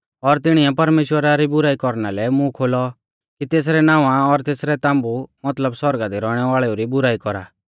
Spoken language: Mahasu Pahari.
और तिणिऐ परमेश्‍वरा री बुराई कौरना लै मूंह खोलौ कि तेसरै नावां और तेसरै ताम्बु मतलब सौरगा दी रौइणै वाल़ेऊ री बुराई कौरा